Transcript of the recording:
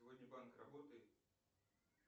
сегодня банк работает